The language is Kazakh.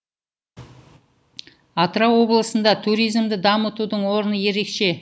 атырау облысында туризмді дамытудың орны ерекше